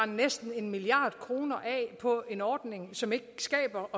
næsten en milliard kroner af på en ordning som ikke skaber